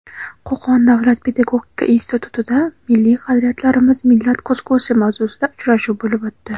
Qo‘qon davlat pedagogika institutida "Milliy qadriyatlarimiz – millat ko‘zgusi" mavzusida uchrashuv bo‘lib o‘tdi.